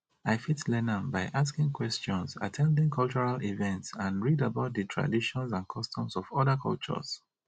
i fit learn am by asking questions at ten ding cultural events and read about di traditions and customs of oda cultures